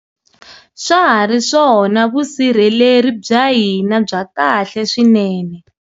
Swa ha ri swona vusirheleri bya hina bya kahle swinene.